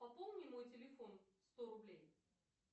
пополни мой телефон сто рублей